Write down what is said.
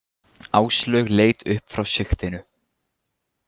Áslaug leit upp frá sigtinu.